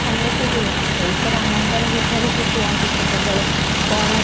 ସମୟ କଉଠି ହେଉଛି ସେଇ ତ ରାମଙ୍କର ବିଷୟରେ ସେ କୁହନ୍ତି ସବୁବେଳେ କ'ଣ?